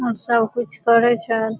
और सब कुछ करे छै।